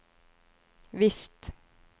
visst